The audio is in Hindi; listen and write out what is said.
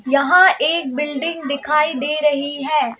यहां एक बिल्डिंग दिखाई दे रही है।